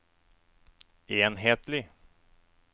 enhetlig